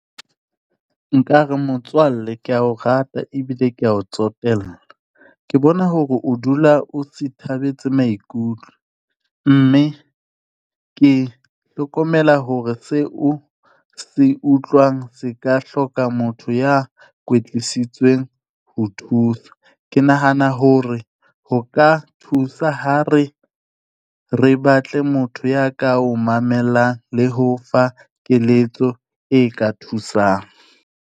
Nka re motswalle ke ya o rata ebile ke ya o tsotella. Ke bona hore o dula o sithabetse maikutlo, mme ke hlokomela hore seo se utlwang se ka hloka motho ya kwetlisitsweng ho thusa. Ke nahana hore ho ka thusa ha re batle motho ya ka o mamelang le ho fa keletso e ka thusang.